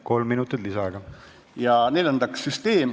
Kolm minutit lisaaega.